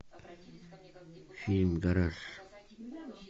фильм гараж